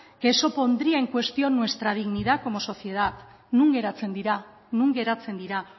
que eso pondría en cuestión nuestra dignidad como sociedad non geratzen dira non geratzen dira